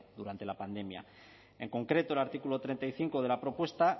durante la pandemia en concreto el artículo treinta y cinco de la propuesta